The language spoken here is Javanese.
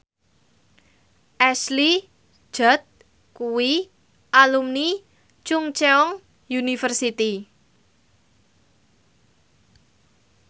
Ashley Judd kuwi alumni Chungceong University